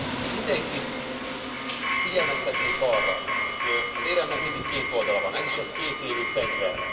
Azonban mindenkit figyelmeztetnék arra, hogy az éremnek mindig két oldala van, ez is egy kétélű fegyver.